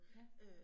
Ja